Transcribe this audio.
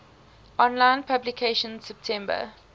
online publication september